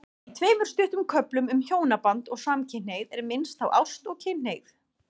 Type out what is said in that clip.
Í tveimur stuttum köflum um hjónaband og samkynhneigð er minnst á ást og kynhneigð.